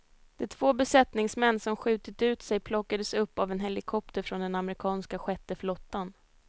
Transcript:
De två besättningsmän som skjutit ut sig plockades upp av en helikopter från den amerikanska sjätte flottan.